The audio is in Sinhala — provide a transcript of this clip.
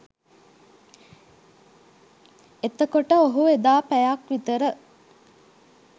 එතකොට ඔහු එදා පැයක් විතර